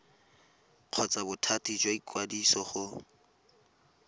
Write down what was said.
kgotsa bothati jwa ikwadiso go